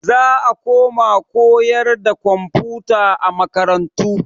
Za a koma koyarwa da komfuta a makarantu.